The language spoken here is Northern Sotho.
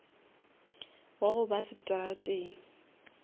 wa go ba seterateng